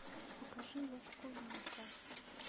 покажи ложка вилка